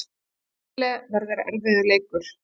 Síle verður erfiður leikur.